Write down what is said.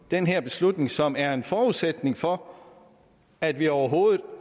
den her beslutning som er en forudsætning for at vi overhovedet